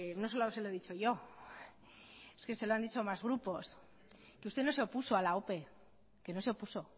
no solo se lo he dicho yo es que se lo han dicho otros grupos que usted no se opuso a la ope que no se opuso